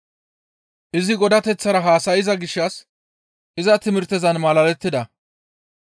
Izi Godateththara haasayza gishshas iza timirtezan malalettida.